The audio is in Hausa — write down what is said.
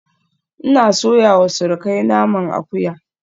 Ina soyawa surukai naman akuya